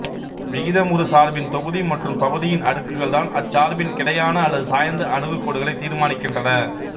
விகிதமுறு சார்பின் தொகுதி மற்றும் பகுதியின் அடுக்குகள்தான் அச்சார்பின் கிடையான அல்லது சாய்ந்த அணுகுகோடுகளைத் தீர்மானிக்கின்றன